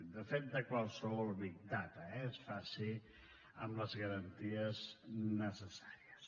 de fet de qualsevol data eh es faci amb les garanties necessàries